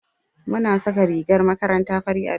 Muna saka rigar makaranta fari a da.